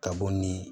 Ka bɔ ni